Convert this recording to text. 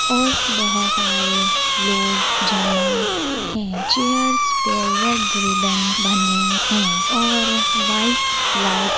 और बहुत आ रहे लोग जमा है चेयर्स पे रेड रिबन बंधे हैं और वाइट लाइट --